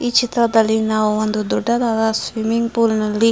ಈ ಚಿತ್ರದಲ್ಲಿ ನಾವು ಒಂದು ದೊಡ್ಡದಾದ ಸ್ವಿಮ್ಮಿಂಗ್ ಫುಲ್ ನಲ್ಲಿ --